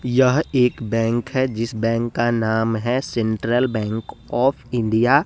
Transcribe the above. यह एक बैंक है जिस बैंक का नाम है सेंट्रल बैंक आफ इंडिया ।